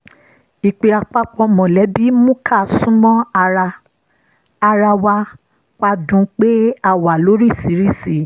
ìpè àpapọ̀ mọ̀lẹ́bí mú ká sún mọ́ ara ara wa pa dùn un pé a wà lóríṣìíríṣìí